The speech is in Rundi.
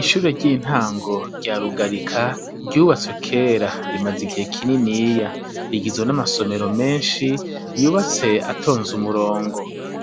Ishure ry'intango rya rugarika ryubatswe kera rimaze igihe kininiya, rigizwe n'amasomero menshi yubatse atonze umurongo.